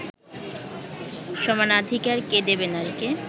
সমানাধিকার কে দেবে নারীকে